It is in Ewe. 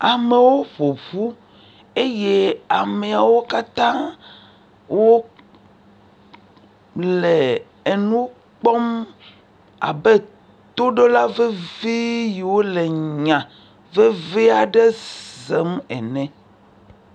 Amewo ƒoƒu eye ameawo katã wole enu kpɔm abe toɖola veve yio le nya veve aɖe sem ene.